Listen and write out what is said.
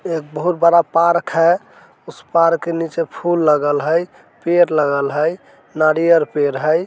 एक बहुत बड़ा पार्क है उस पार्क के नीचे फूल लगल हई पेड़ लगल हई नारियर पेड़ हई।